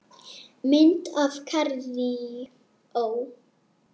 Mynd af Kaíró